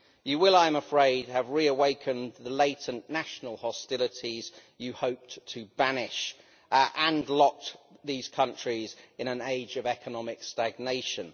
You will, I am afraid, have reawakened the latent national hostilities you hoped to banish and locked these countries into an age of economic stagnation.